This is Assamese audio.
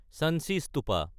চাঞ্চি স্তূপা